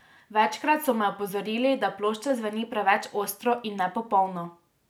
Večkrat so me opozorili, da plošča zveni preveč ostro in nepopolno.